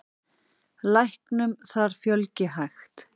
Læknum þar fjölgi hægt.